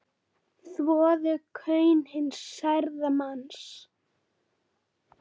Þvoðu kaun hins særða manns.